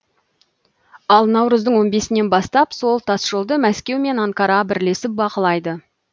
ал наурыздың он бесінен бастап сол тасжолды мәскеу мен анкара бірлесіп бақылайды